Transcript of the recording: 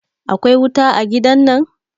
akwai wuta a gidan nan?